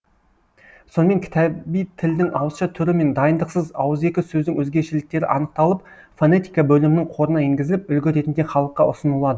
сонымен кітаби тілдің ауызша түрі мен дайындықсыз ауызекі сөздің өзгешеліктері анықталып фонетика бөлімінің қорына енгізіліп үлгі ретінде халыққа ұсынылады